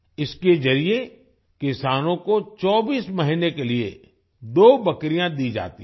इसके जरिए किसानों को 24 महीने के लिए 2 बकरियां दी जाती हैं